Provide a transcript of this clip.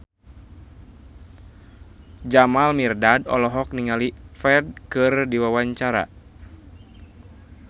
Jamal Mirdad olohok ningali Ferdge keur diwawancara